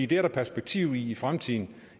det er der perspektiv i i fremtiden